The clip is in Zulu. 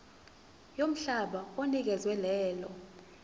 yomhlaba onikezwe lelo